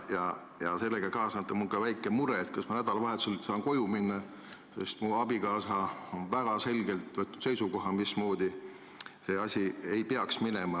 Ja sellega kaasneb mul väike mure, kas ma nädalavahetusel saan koju minna, sest mu abikaasa on väga selgelt võtnud seisukoha, mismoodi see asi ei peaks minema.